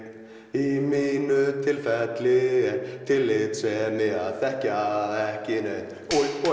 í mínu tilfelli er tillitssemi að þekkja ekki neinn